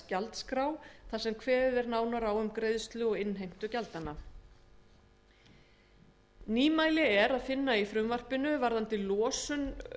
gjaldskrá þar sem kveðið er nánar á um greiðslu og innheimtu gjalda nýmæli er að finna í frumvarpinu varðandi losun